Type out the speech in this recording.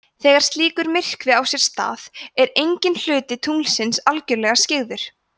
þegar slíkur myrkvi á sér stað er enginn hluti tunglsins algjörlega skyggður